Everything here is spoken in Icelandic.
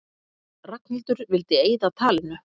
Ragnhildur vildi eyða talinu.